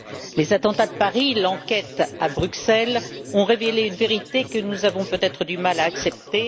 Les attentats de Paris et l'enquête à Bruxelles ont révélé une vérité que nous avons peut être du mal à accepter.